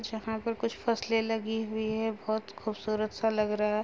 जहां पर कुछ फसले लगी हुई हैं बोहोत खूबसूरत सा लग रहा है।